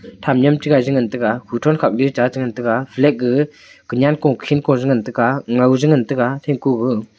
tham nyam chi gai chi ngan tega kuthon khak ley che ngan taiga flag gaga kunen kukhen ko che ngan taiga ngoi a ngan taiga.